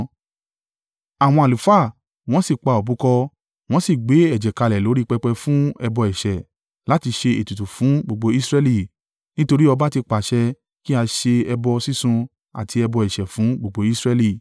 Àwọn àlùfáà wọn sì pa òbúkọ, wọ́n sì gbé ẹ̀jẹ̀ kalẹ̀ lórí pẹpẹ fún ẹbọ ẹ̀ṣẹ̀ láti ṣe ètùtù fún gbogbo Israẹli, nítorí ọba ti pàṣẹ kí a ṣe ẹbọ sísun àti ẹbọ ẹ̀ṣẹ̀ fún gbogbo Israẹli.